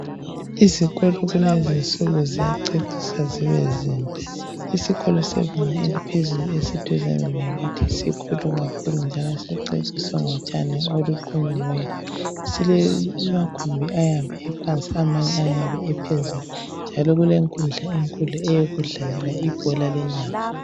izikolo kulezinsuku ziyaceciswa zibezinhle isikolo sebanga eliphezulu esiduzane lakithi sikhulu kakhulu njalo siceciswe ngotshani oluqhunyiweyo silamagumbi aybe ephansiamanye ephezulu njalo kulenkundla enkulu yokudlalela ibholalenyawo